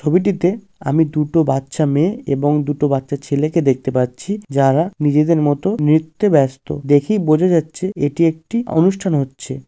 ছবিটিতে আমি দুটো বাচ্চা মেয়ে এবং দুটি বাচ্চা ছেলে কে দেখতে পাচ্ছি। যারা নিজেদের মতো নৃত্যে ব্যস্ত। দেখেই বোঝা যাচ্ছে এটি একটি অনুষ্ঠান হচ্ছে।